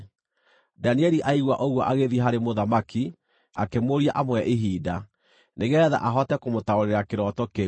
Danieli aigua ũguo agĩthiĩ harĩ mũthamaki, akĩmũũria amũhe ihinda, nĩgeetha ahote kũmũtaũrĩra kĩroto kĩu.